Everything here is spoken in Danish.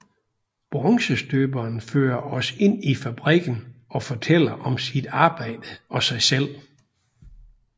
Bronzestøberen fører os ind i fabrikken og fortæller om sit arbejde og sig selv